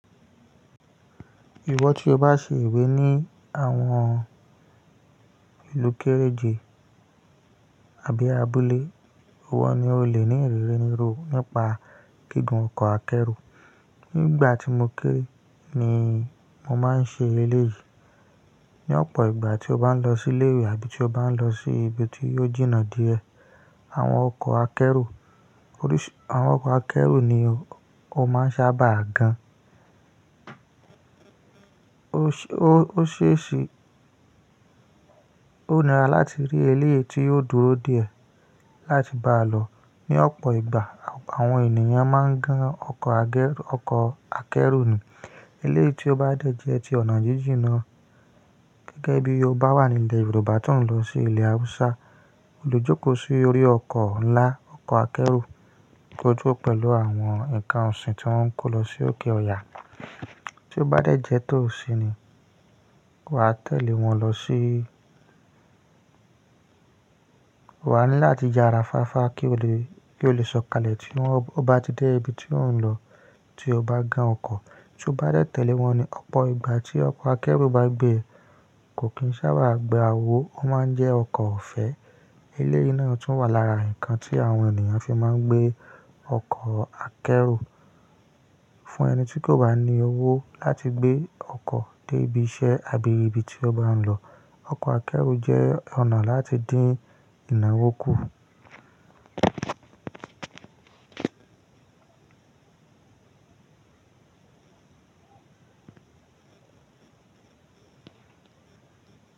Ìwọ tí o bá ṣe ewé ní àwọn ìlú kéréje àbí abúlé, ìwọ ni o lè ní ìrírí nírú nípa gígùn ọkọ̀ akẹ́rù. Nígbà tí mo kéré ni mo máa ń ṣe eléyìí. Ní ọ̀pọ̀ ìgbà tí o bá ń lọ sí ilé ìwé àbí tí o bá ń lọ sí ibi tí yóò jìnnà díẹ̀, àwọn ọkọ̀ akẹ́rù, oríṣì, àwọn ọkọ̀ akẹ́rù ni o máa ṣábà gan. O ṣe ṣe, ó nira láti rí eléyìí tí yóò dúró díẹ̀ láti bá lọ. Ní ọ̀pọ̀ ìgbà àwọn ènìyàn máa ń gan ọkọ̀, ọkọ̀ akẹ́rù ni. Eléyìí tí ó bá dẹ́ jẹ́ ti ọ̀nà jíjìn náà. Gẹ́gẹ́ bí o bá wà ní ilẹ̀ Yorùbá tó ń lọ sí ilẹ̀ Hausa, o lè jókòó sí orí ọkọ̀ ńlá, ọkọ̀ akẹ́rù kó dúró pẹ̀lú àwọn ǹkan ọ̀sìn tí wọ́n ń kó lọ sí òkè Ọya. Tí ó bá dẹ́ jẹ́ tó sí ni, wà á tẹ̀lé wọn lọ sí. Wà ní láti yara fáfa kí o lè, kí o lè sọ̀kalẹ̀ ti won, ọ bá ti dé ibi tí ò ń lọ tí o bá gan ọkọ̀. Tí o bá dẹ́ tẹ̀lé wọn ni, ọ̀pọ̀ ìgbà tí ọkọ̀ akẹ́rù bá gbé e, kò kín sábà gba owó, ó máa ń jẹ́ ọkọ̀ ọ̀fẹ́. Eléyìí náà tún wà lára ǹkan tí àwọn ènìyàn fi máa ń gbé ọkọ̀ akẹ́rù fún ẹni tí kò bá ní owó láti gbé ọkọ̀ dé ibi iṣẹ́ àbí ibi tí ó bá ń lọ. Ọkọ̀ akẹ́rù jẹ́ ọ̀nà láti dín ìnáwó kù.